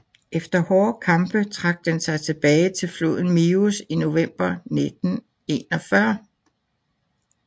Efter hårde kampe trak den sig tilbage til floden Mius i november 1941